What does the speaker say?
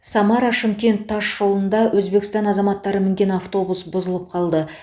самара шымкент тасжолында өзбекстан азаматтары мінген автобус бұзылып қалды